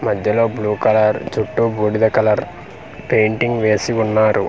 మద్యలో blue colour చుట్టూ బూడిద కలర్ పెయింటింగ్ వేసి ఉన్నారు.